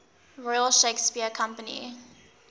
royal shakespeare company